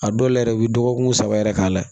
A dɔw la yɛrɛ i bi dɔgɔkun saba yɛrɛ k'a la